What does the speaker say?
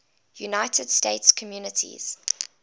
united states communities